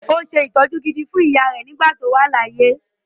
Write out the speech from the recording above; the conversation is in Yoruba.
Ó se ìtọ́jú gidi fún ìyáà rẹ̀ nígbà tí ó wà láyé.